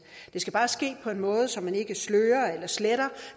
det skal bare ske på en måde så man ikke slører eller sletter